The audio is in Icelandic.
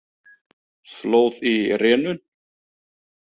Flóð í rénun